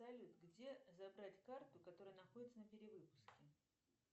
салют где забрать карту которая находится на перевыпуске